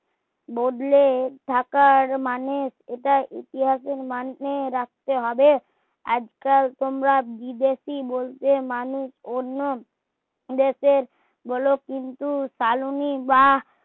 বদলে থাকার মানুষ এটা ইতিহাস এর মানে রাখতে হবে আজকাল তোমরা বিদেশি বলতে মানুষ অন্য দেশের বলে তা কালনী